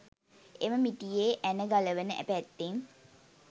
එම මිටියේ ඇන ගලවන පැත්තෙන්